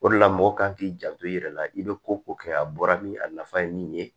O de la mɔgɔ kan k'i janto i yɛrɛ la i bɛ ko ko kɛ a bɔra ni a nafa ye min ye